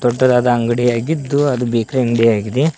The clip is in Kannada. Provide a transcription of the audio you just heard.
ದೊಡ್ಡದಾದ ಅಂಗಡಿ ಆಗಿದ್ದು ಅದು ಬೇಕ್ರಿ ಅಂಗ್ಡಿ ಆಗಿದೆ.